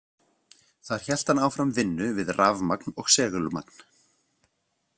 Þar hélt hann áfram vinnu við rafmagn og segulmagn.